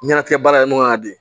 Ɲɛnajɛ baara in kɔnɔ ka di